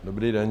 Dobrý den.